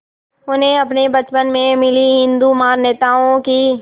उन्हें अपने बचपन में मिली हिंदू मान्यताओं की